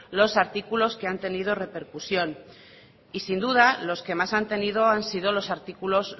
los artículos que han tenido repercusión y sin duda los que más han tenido han sido los artículos